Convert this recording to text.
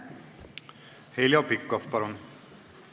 Heljo Pikhof, palun!